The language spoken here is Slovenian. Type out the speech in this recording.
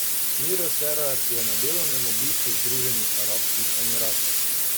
Miro Cerar je na delovnem obisku v Združenih arabskih emiratih.